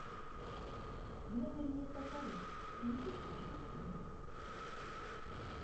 в номере нет бокалов принесите пожалуйста два